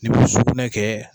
N'i sukunɛ kɛ.